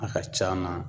A ka c'a na